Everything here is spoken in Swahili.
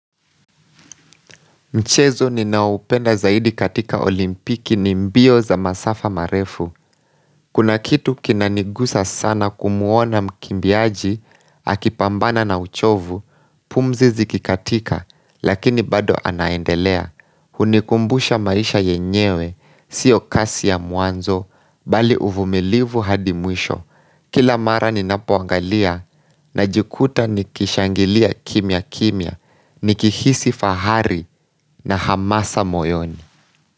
Mchezo ni ninaoupenda zaidi katika olimpiki ni mbio za masafa marefu. Kuna kitu kinanigusa sana kumuona mkimbiaji, akipambana na uchovu, pumzizi kikatika, lakini bado anaendelea. Hunikumbusha maisha yenyewe, siyo kasi ya mwanzo, bali uvumilivu hadimwisho. Kila mara ni napoangalia na jikuta ni kishangilia kimya kimya, ni kihisi fahari na hamasa moyoni.